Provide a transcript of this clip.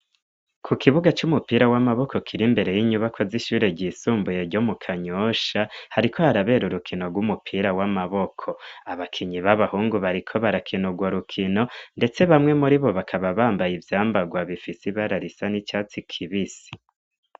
Ku kibuga c'umupira w'amaboko kiri imbere y'inyubakwa z'ishure ryisumbuye ryo mu Kanyosha, hariko harabera urukino rw'umupira w'amaboko. Abakinyi b'abahungu bariko barakin'urwo rukino ndetse bamwe muri bo bakaba bambaye ivyambagwa bifis'ibara risa n'icatsi kibisi.